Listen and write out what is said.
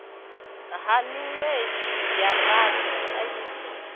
ha minwedzi ya rathi khaidzo